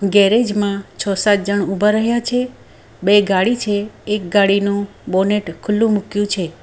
Garage માં છ સાત જણ ઊભા રહ્યા છે બે ગાડી છે એક ગાડીનું બોનટ ખુલ્લું મૂક્યું છે.